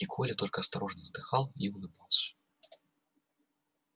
и коля только осторожно вздыхал и улыбался